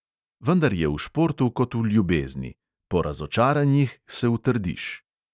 Vendar je v športu kot v ljubezni – po razočaranjih se utrdiš.